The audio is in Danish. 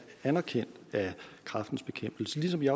anerkendt af kræftens bekæmpelse ligesådan